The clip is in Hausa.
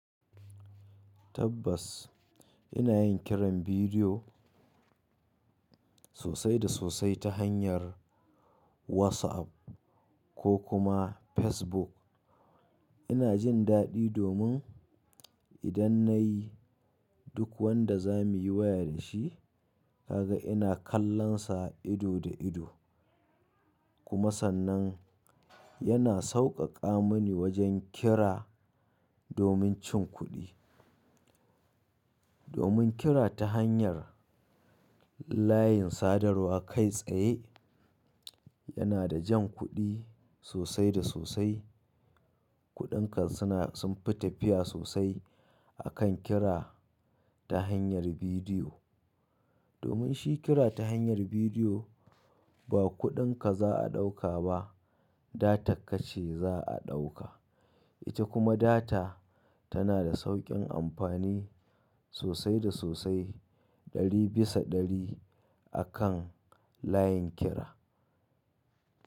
Tabbas ina yin kiran bidiyo sosai da sosai ta hanyar WhatsApp ko kuma Facebook. Ina jin daɗi domin idan nayi duk wanda za mu yi waya da shi, kaga ina kallon sa ido da ido. Kuma sannan yana sauƙaƙa mini wajen kira domin cin kuɗi. Domin kira ta hanyar layin sadarwa kai tsaye yana da jan kuɗi sosai da sosai. Kuɗinka suna sunfi tafiya sosai akan kira ta hanyar bidiyo. Domin shi kira ta hanyar bidiyo ba kuɗinka za a ɗauka ba, data kace za a ɗauka. Ita kuma data tana da sauƙin amfani sosai da sosai. Ɗari bisa ɗari akan layin kira.